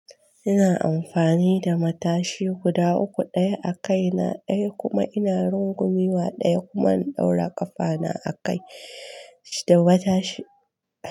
Ina amfani da matashi guda uku, ɗaya a kai na ɗaya kuma ina rungumi wa ɗaya kuma in ɗaura ƙafa na a kai da mata shi.